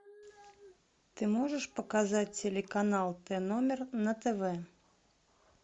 ты можешь показать телеканал т номер на тв